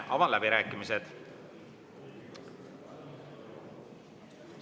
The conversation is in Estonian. Avan läbirääkimised.